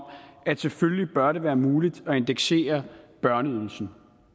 at selvfølgelig bør det være muligt at indeksere børneydelsen